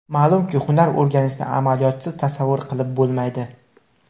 Ma’lumki, hunar o‘rganishni amaliyotsiz tasavvur qilib bo‘lmaydi.